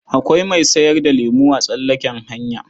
Akwai mai sayar da lemo a tsallaken hanya.